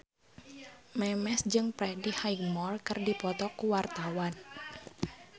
Memes jeung Freddie Highmore keur dipoto ku wartawan